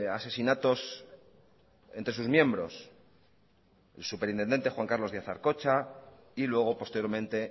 asesinatos entre sus miembros el superintendente juan carlos díaz arcocha y luego posteriormente